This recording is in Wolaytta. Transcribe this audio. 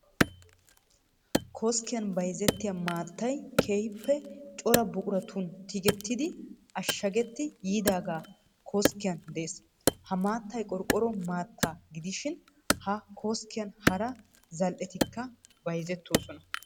Koskkiyan bayzettiya maattay keehippe cora buquratun tigettidi ashshagetti yiidaagee koskkitan de'ees. Ha maattay qorqqoro maattaa gidishin ha koskkiyan hara zal"etikka bayzettoosona.